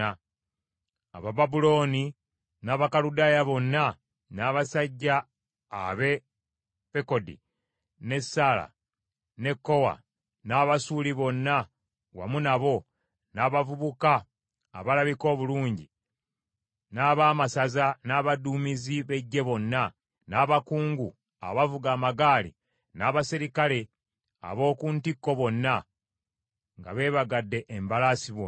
Abababulooni, n’Abakaludaaya bonna, n’abasajja ab’e Pekodi ne Sara ne Kowa, n’Abaasuli bonna wamu nabo, n’abavubuka abalabika obulungi, n’abaamasaza n’abaduumizi b’eggye bonna, n’abakungu abavuga amagaali n’abaserikale ab’oku ntikko bonna, nga beebagadde embalaasi bonna.